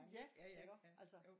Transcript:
Ja iggå altså